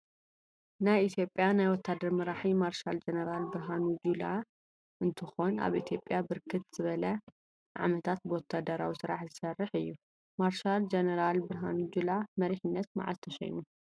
ናይ ኢትዮጲያ ናይ ወታደር መራሒ ማርሻል ጅነራል ብርሃኑ ጁላ እንትኮን አብ ኢትዮጲያ ብርክት ዝበለ ዓመታት ብወታደራዊ ስራሕ ዝስርሕ እዩ ።ማርሻል ጅነራል ብርሃኑ ናብ መሪሕነት መዓዝ ተሽይሙ?